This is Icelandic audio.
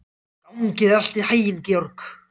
Gangi þér allt í haginn, Georg.